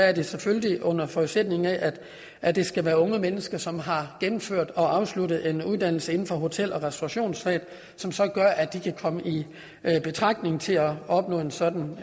er det selvfølgelig under forudsætning af at det skal være unge mennesker som har gennemført og afsluttet en uddannelse inden for hotel og restaurationsfaget som som gør at de kan komme i betragtning til at opnå en sådan